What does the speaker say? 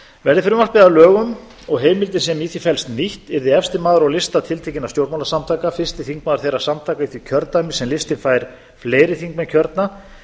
verði frumvarpið að lögum og heimildin sem í því felst nýtt yrði efsti maður á lista tiltekinna stjórnmálasamtaka fyrsti þingmaður þeirra samtaka í því kjördæmi sem listinn fær fleiri þingmenn kjörna